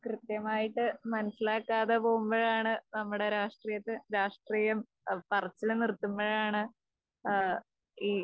കൃത്യമായിട്ട് മനസിലാക്കാതെ പോകുമ്പോഴാണ് നമ്മുടെ രാഷ്ട്രീയത്തെ രാഷ്ട്രീയം പറച്ചിൽ നിർത്തുമ്പോഴാണ് ഏഹ് ഈ